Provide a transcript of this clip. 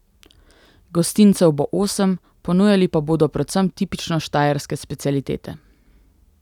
Gostincev bo osem, ponujali pa bodo predvsem tipično Štajerske specialitete.